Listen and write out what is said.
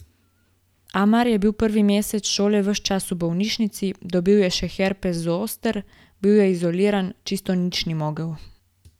Amar je bil prvi mesec šole ves čas v bolnišnici, dobil je še herpes zoster, bil je izoliran, čisto nič ni mogel.